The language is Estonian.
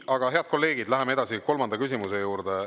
Aga, head kolleegid, läheme edasi kolmanda küsimuse juurde.